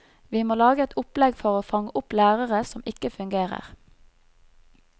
Vi må lage et opplegg for å fange opp lærere som ikke fungerer.